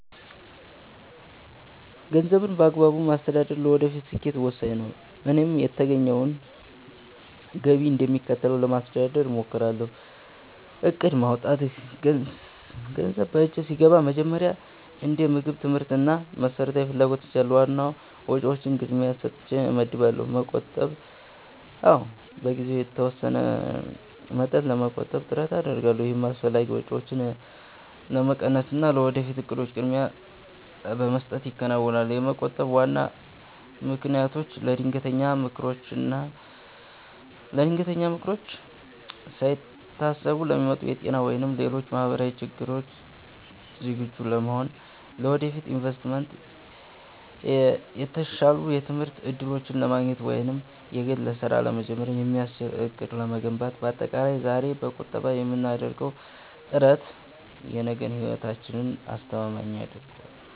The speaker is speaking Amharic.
ገንዘብን በአግባቡ ማስተዳደር ለወደፊት ስኬት ወሳኝ ነው፤ እኔም የተገኘውን ገቢ እንደሚከተለው ለማስተዳደር እሞክራለሁ፦ እቅድ ማውጣት፦ ገንዘብ በእጄ ሲገባ መጀመሪያ እንደ ምግብ፣ ትምህርት እና መሰረታዊ ፍላጎቶች ያሉ ዋና ዋና ወጪዎችን ቅድሚያ ሰጥቼ እመድባለሁ። መቆጠብ፦ አዎ፣ በየጊዜው የተወሰነ መጠን ለመቆጠብ ጥረት አደርጋለሁ። ይህም አላስፈላጊ ወጪዎችን በመቀነስና ለወደፊት እቅዶች ቅድሚያ በመስጠት ይከናወናል። ለመቆጠብ ዋና ምክንያቶቼ፦ ለድንገተኛ ችግሮች፦ ሳይታሰቡ ለሚመጡ የጤና ወይም ሌሎች ማህበራዊ ችግሮች ዝግጁ ለመሆን። ለወደፊት ኢንቨስትመንት፦ የተሻሉ የትምህርት እድሎችን ለማግኘት ወይም የግል ስራ ለመጀመር የሚያስችል አቅም ለመገንባት። ባጠቃላይ፣ ዛሬ በቁጠባ የምናደርገው ጥረት የነገውን ህይወታችንን አስተማማኝ ያደርገዋል።